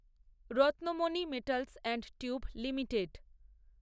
Ratnamani metals and tube limited